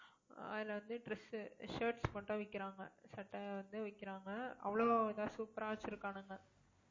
ஆஹ் அதுல வந்து dress உ shirts மட்டும் விக்கிறாங்க சட்டை வந்து விக்கிறாங்க. அவ்ளோ இதா super ஆ வச்சிருக்கானுங்க